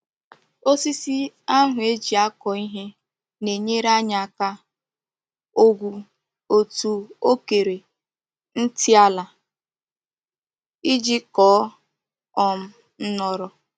Osisi ahu e ji ako ihe na-enyere anyi aka ogwu otu okere nti ala Iji Koo um noro.